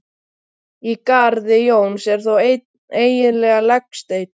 Í garði Jóns er þó einn eiginlegur legsteinn.